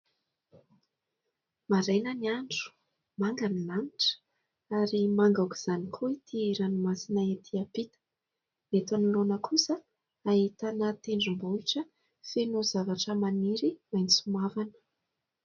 Maraina ny andro, manga ny lanitra ary manga aok'izany koa ity ranomasina ety ampita. Eto anoloana kosa ahitana tendrombohitra feno zavatra maniry maitso mavana.